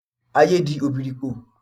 Ayé di òbírípo.